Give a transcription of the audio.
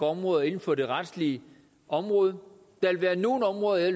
områder inden for det retslige område der vil være nogle områder jeg